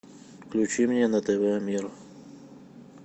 включи мне на тв мир